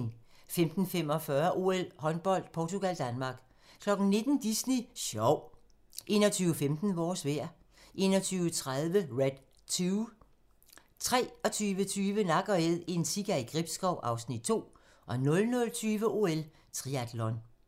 15:45: OL: Håndbold - Portugal-Danmark 19:00: Disney Sjov 21:15: Vores vejr 21:30: Red 2 23:20: Nak & Æd - en sika i Gribskov (Afs. 2) 00:20: OL: Triatlon